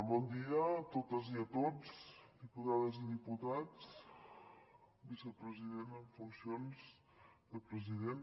bon dia a totes i a tots diputades i diputats vicepresident en funcions de president